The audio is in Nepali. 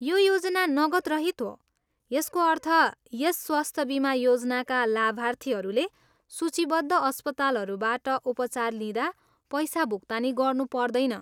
यो योजना नगदरहित हो, यसको अर्थ यस स्वास्थ्य बिमा योजनाका लाभार्थीहरूले सूचीबद्ध अस्पतालहरूबाट उपचार लिँदा पैसा भुक्तानी गर्नु पर्दैन।